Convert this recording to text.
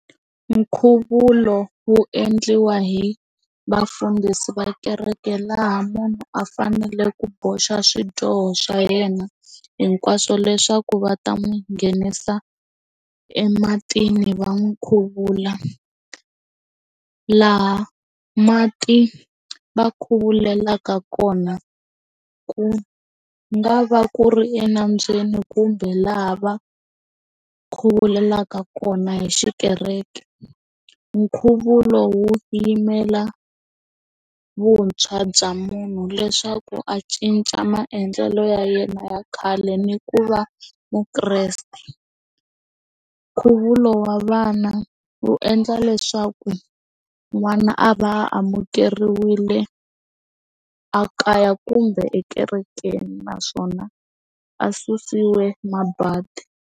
Nkhuvulo wu endliwa hi vafundhisi va kereke laha munhu a fanele ku boxa swidyoho swa yena hinkwaswo leswaku va ta n'wi nghenisa ematini va n'wi khuvula laha mati va khuvulelaka kona ku nga va ku ri enambyeni kumbe laha va khuvulelaka kona hi xikereke. Nkhuvo lowu yimela a vuntshwa bya munhu leswaku a cinca maendlelo ya yena ya khale ni ku va mukreste, nkhuvulo wa vana endla leswaku n'wana a va amukeriwile a kaya kumbe ekerekeni naswona a susiwe mabadi.